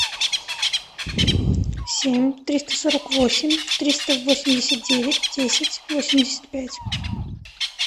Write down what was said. семь триста сорок восемь триста восемьдесят девять десять восемьдесят пять